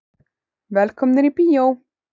Velkomnir í bíó.